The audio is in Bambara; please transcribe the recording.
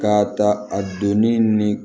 K'a ta a donni ni